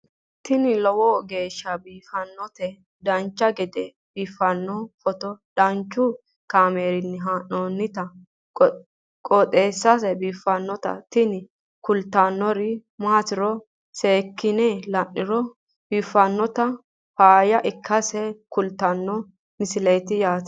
tini lowo geeshsha biiffannoti dancha gede biiffanno footo danchu kaameerinni haa'noonniti qooxeessa biiffannoti tini kultannori maatiro seekkine la'niro biiffannota faayya ikkase kultannoke misileeti yaate